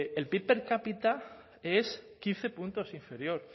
el pib per cápita es quince puntos inferior